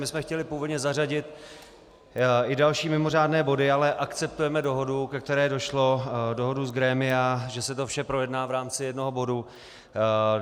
My jsme chtěli původně zařadit i další mimořádné body, ale akceptujeme dohodu, ke které došlo, dohodu z grémia, že se to vše projedná v rámci jednoho bodu.